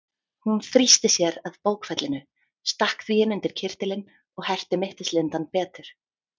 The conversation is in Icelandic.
Hún þrýsti að sér bókfellinu, stakk því inn undir kyrtilinn og herti mittislindann betur.